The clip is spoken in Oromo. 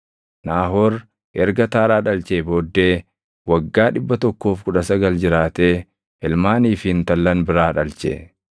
Naahoor erga Taaraa dhalchee booddee waggaa 119 jiraatee ilmaanii fi intallan biraa dhalche.